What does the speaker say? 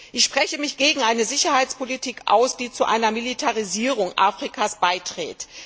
Ich spreche mich gegen eine Sicherheitspolitik aus, die zu einer Militarisierung Afrikas beiträgt.